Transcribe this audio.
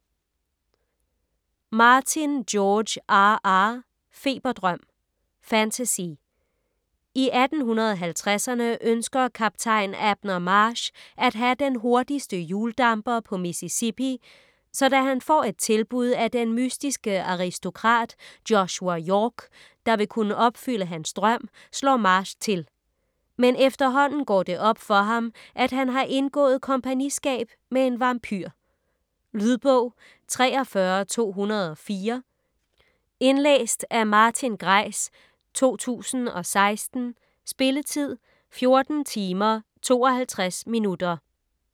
Martin, George R. R.: Feberdrøm Fantasy. I 1850'erne ønsker Kaptajn Abner Marsh at have den hurtigste hjuldamper på Mississippi, så da han får et tilbud af den mystiske aristokrat, Joshua York, der vil kunne opfylde hans drøm, slår Marsh til. Men efterhånden går det op for ham, at han har indgået kompagniskab med en vampyr. Lydbog 43204 Indlæst af Martin Greis, 2016. Spilletid: 14 timer, 52 minutter.